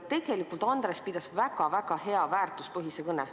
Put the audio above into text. Tegelikult pidas Andres väga-väga hea väärtuspõhise kõne.